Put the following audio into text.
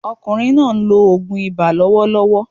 Ọkùnrin náà ń lo ògùn ibà lọ́wọ́lọ́wọ́